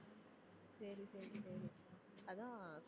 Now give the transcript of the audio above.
சரி சரி சரி அதான்